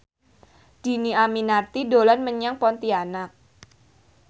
Dhini Aminarti dolan menyang Pontianak